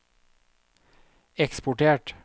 eksportert